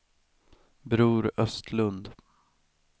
Bror Östlund